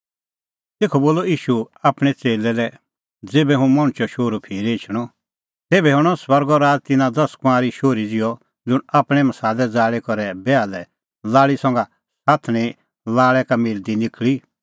तेखअ बोलअ ईशू आपणैं च़ेल्लै लै ज़ेभै हुंह मणछो शोहरू फिरी एछणअ तेभै हणअ स्वर्गो राज़ तिन्नां दस कुंआरी शोहरी ज़िहअ ज़ुंण आपणैं मसालै ज़ाल़ी करै बैहा लै लाल़ी संघै साथणीं लाल़ै का मिलदी निखल़ी